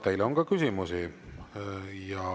Teile on ka küsimusi.